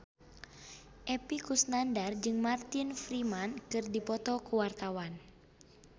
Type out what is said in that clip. Epy Kusnandar jeung Martin Freeman keur dipoto ku wartawan